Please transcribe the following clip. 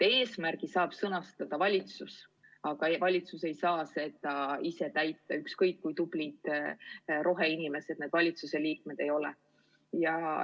Eesmärgi saab sõnastada valitsus, aga valitsus ei saa seda ise täita, ükskõik kui tublid roheinimesed valitsuse liikmed ka ei ole.